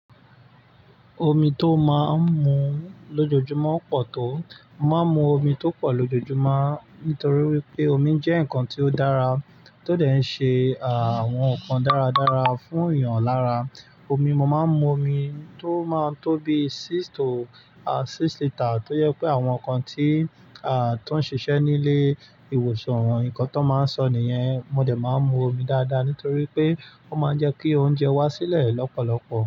Omi tó máa ń mu lójoojúmọ́ pọ̀ tó. Mo máa ń mu omi tó pọ̀ lójoojúmọ́ nítorí wípé omi jẹ́ nǹkan tí ó dára, tó dẹ̀ ṣé àwọn nnkan dáradára fún èèyàn lára. Omi, mo máa ń mu omi tó máa tó bi six to six litre, tó yẹ pé àwọn nnkan tí, à tó ń ṣiṣẹ́ nílé, ìwòsàn, ǹkan tó máa ń sọ nìyẹn, mo dẹ̀ máa ń mu omi dáadáa nítorí pé ó máa ń jẹ kí oúnjẹ wá sílẹ̀ lọ́pọ̀lọpọ̀.